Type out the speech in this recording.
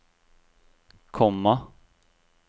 komma